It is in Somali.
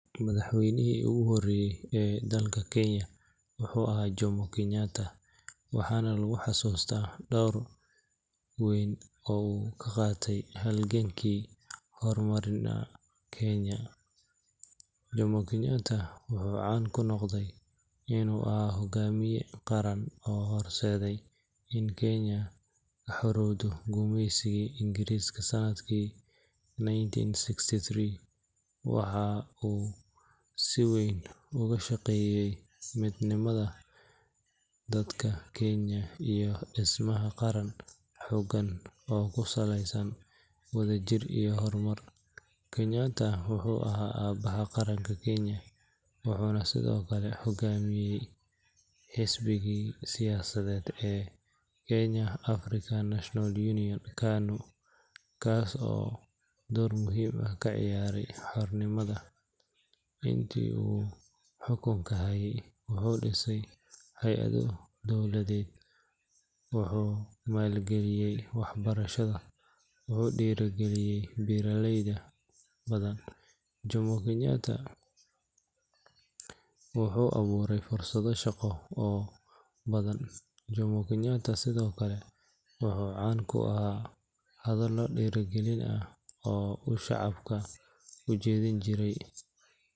Kenyatta, waxaana lagu xasuustaa door weyn oo uu ka qaatay halgankii xornimada Kenya. Jomo Kenyatta wuxuu caan ku noqday inuu ahaa hoggaamiye qaran oo horseeday in Kenya ka xoroowdo gumeysigii Ingiriiska sanadkii nineteen sixty-three. Waxa uu si weyn uga shaqeeyay midnimada dadka Kenya iyo dhismaha qaran xooggan oo ku saleysan wadajir iyo hormar. Kenyatta wuxuu ahaa aabaha qaranka Kenya, wuxuuna sidoo kale hoggaaminayay xisbigii siyaasadeed ee Kenya African National Union (KANU), kaas oo door muhiim ah ka ciyaaray xornimada. Intii uu xukunka hayay, wuxuu dhisay hay’ado dowladeed, wuxuu maalgeliyay waxbarashada, wuxuu dhiirrigeliyay beeraleyda, wuxuuna abuuray fursado shaqo oo badan. Jomo Kenyatta sidoo kale wuxuu caan ku ahaa hadallo dhiirrigelin ah oo uu shacabka u jeedin jiray.